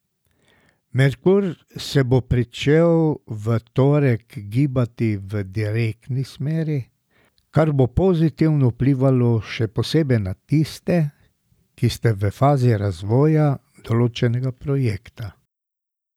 Merkur se bo pričel v torek gibati v direktni smeri, kar bo pozitivno vplivalo še posebej na tiste, ki ste v fazi razvoja določenega projekta.